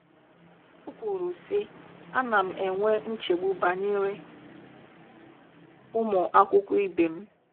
O kwuru, sị: “ ana m enwe nchegbu banyere ụmụ akwụkwọ ibe m.